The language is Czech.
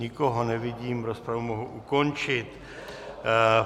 Nikoho nevidím, rozpravu mohu ukončit.